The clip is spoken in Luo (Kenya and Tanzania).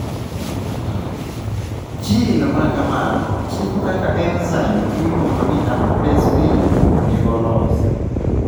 Gene ma kamano chiko kaka enzyme miluongo ni aldolase B onego olos.